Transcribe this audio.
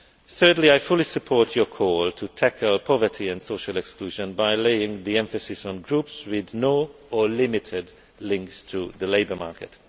way. Thirdly, I fully support your call to tackle poverty and social exclusion by laying the emphasis on groups with no or limited links to the labour market.